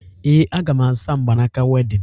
Ee, aga m azụta mgbanaaka wedịn